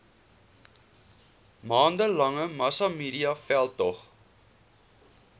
maande lange massamediaveldtog